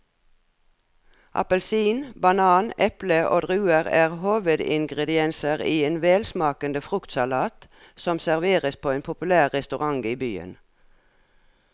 Appelsin, banan, eple og druer er hovedingredienser i en velsmakende fruktsalat som serveres på en populær restaurant i byen.